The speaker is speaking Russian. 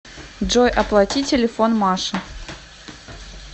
джой оплати телефон маши